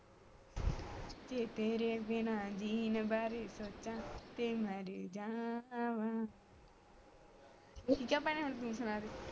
ਜੇ ਤੇਰੇ ਬਿਨਾਂ ਜੀਣ ਵਾਰੇ ਸੋਚਾਂ ਤੇ ਮਰ ਜਾਵਾ ਹੁਣ ਭੈਣੇ ਤੂੰ ਸੁਣਾ ਦੇ